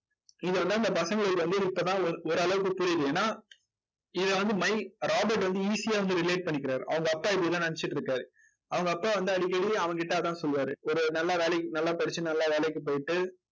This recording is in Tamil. இதெல்லாம் இந்த பசங்களுக்கு வந்து இப்போதான் ஓ ஓரளவுக்கு புரியுது. ஏன்னா இதை வந்து மை ராபர்ட் வந்து easy ஆ வந்து relate பண்ணிக்கிறாரு. அவங்க அப்பா இதை என்ன நினைச்சுட்டு இருக்காரு. அவங்க அப்பா வந்து அடிக்கடி அவன்கிட்ட அதான் சொல்லுவாரு. ஒரு நல்ல வேலை நல்லா படிச்சு நல்லா வேலைக்கு போயிட்டு